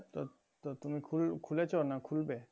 তো তো তুমি খুল~খুলেছো না খুলবে?